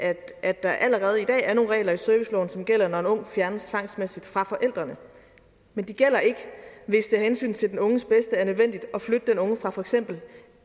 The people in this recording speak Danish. at der allerede i dag er nogle regler i serviceloven som gælder når en ung fjernes tvangsmæssigt fra forældrene men de gælder ikke hvis det af hensyn til den unges bedste er nødvendigt at flytte den unge fra for eksempel